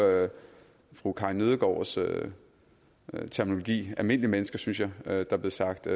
fru karin nødgaards terminologi almindelige mennesker synes jeg at der blev sagt